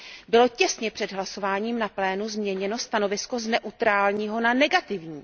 bylo těsně před hlasováním na plénu změněno stanovisko z neutrálního na negativní.